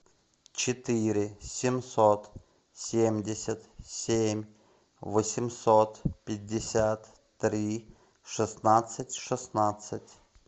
четыре семьсот семьдесят семь восемьсот пятьдесят три шестнадцать шестнадцать